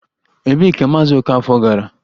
Ebee ka Maazị Okafor gara?